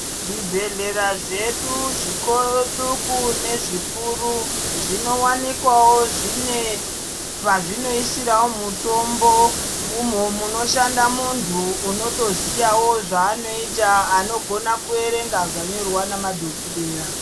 Zvibhedhlera zvedu zviduku nezvikuru zvinowanikwawo zvine pazvinoisirawo mutombo munhu munoshanda muntu unotoziyawo zvaanoita anofana kuerenga zvanyorerwa namadhokoteya.